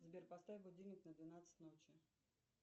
сбер поставь будильник на двенадцать ночи